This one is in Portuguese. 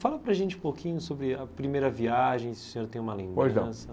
Fala para a gente um pouquinho sobre a primeira viagem, se o senhor tem uma lembrança. Pois não